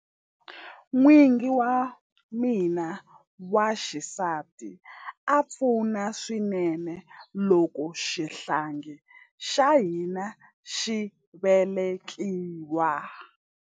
N'wingi wa mina wa xisati a pfuna swinene loko xihlangi xa hina xi velekiwa.